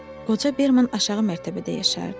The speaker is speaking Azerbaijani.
Qoca Berman aşağı mərtəbədə yaşayırdı.